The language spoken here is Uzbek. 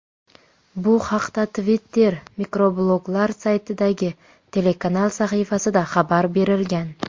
Bu haqda Twitter mikrobloglar saytidagi telekanal sahifasida xabar berilgan .